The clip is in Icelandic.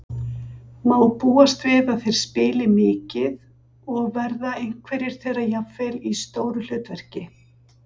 Má búast við að þeir spili mikið og verða einhverjir þeirra jafnvel í stóru hlutverki?